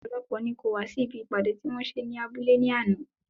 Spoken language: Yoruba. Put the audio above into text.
Ọ̀pọ̀lọpọ̀ ni kò wá sí ibi ìpàdé tí wọ́n ṣe ní abúlé ní àná.